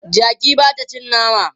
Jaki ba ta cin nama.